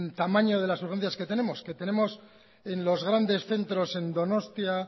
tamaño de las urgencias que tenemos que tenemos en los grandes centros en donostia